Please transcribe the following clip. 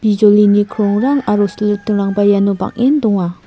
bijolini krongrang aro silitingrangba iano bang·en donga.